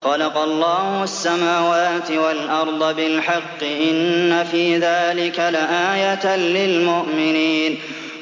خَلَقَ اللَّهُ السَّمَاوَاتِ وَالْأَرْضَ بِالْحَقِّ ۚ إِنَّ فِي ذَٰلِكَ لَآيَةً لِّلْمُؤْمِنِينَ